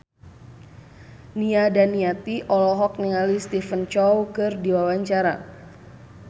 Nia Daniati olohok ningali Stephen Chow keur diwawancara